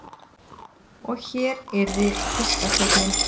Og hér yrði fiskasteinninn.